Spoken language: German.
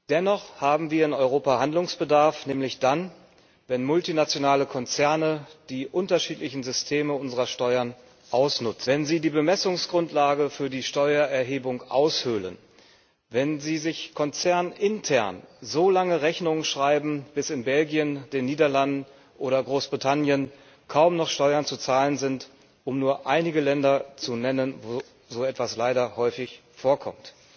Dennoch haben wir in Europa Handlungsbedarf, nämlich dann, wenn multinationale Konzerne die unterschiedlichen Systeme unserer Steuern ausnutzen, wenn sie die Bemessungsgrundlage für die Steuererhebung aushöhlen, wenn sie sich konzernintern so lange Rechnungen schreiben, bis in Belgien, den Niederlanden oder Großbritannien kaum noch Steuern zu zahlen sind um nur einige Länder zu nennen, wo so etwas leider häufig vorkommt.